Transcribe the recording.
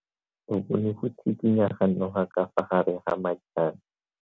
O bone go tshikinya ga noga ka fa gare ga majang.